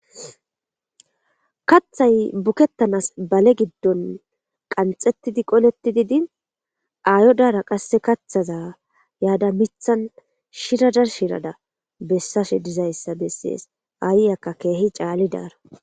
Kathay bukettanas bale giddon qanxettidi qolettidi din aayodara qasse kathaza yaada mithan shirada shirada bessashe dizayssa bessees aayakka keehi caali daaro.